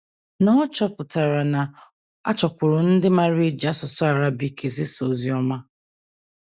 Noor chọpụtara na a chọkwuru ndị maara e ji asụsụ Arabic ezisa ozi ọma.